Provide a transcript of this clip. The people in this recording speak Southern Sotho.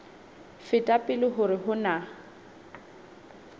feta pele hore ho na